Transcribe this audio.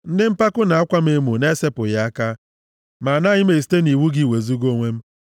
Ndị mpako na-akwa m emo na-esepụghị aka, ma anaghị m esite nʼiwu gị wezuga onwe m.